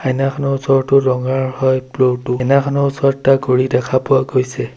আইনাখনৰ ওচৰটো ৰঙাৰ হয় ফ্ল'ৰ টো আইনাখনৰ ওচৰত এটা ঘড়ী দেখা পোৱা গৈছে।